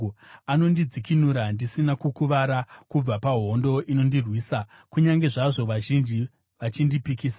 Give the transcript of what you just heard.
Anondidzikinura ndisina kukuvara kubva pahondo inondirwisa, kunyange zvazvo vazhinji vachindipikisa.